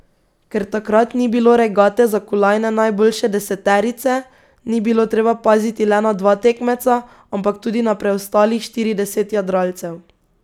Ker takrat ni bilo regate za kolajne najboljše deseterice, ni bilo treba paziti le na dva tekmeca, ampak tudi na preostalih štirideset jadralcev.